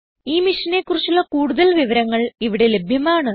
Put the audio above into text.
ഈ മിഷനെ കുറിച്ചുള്ള കുടുതൽ വിവരങ്ങൾ ഇവിടെ ലഭ്യമാണ്